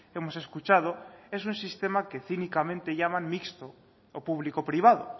hemos escuchado es un sistema que cínicamente llaman mixto o público privado